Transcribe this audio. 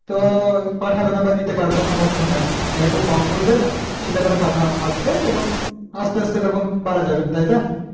তো পাঠাবে না বা দিতে পারবেনা সামর্থ নাই তাই একটু কম করলে ছেলে পেলে একটু আসবে আস্তে আস্তে তখন বাড়ানো যাবে তাই না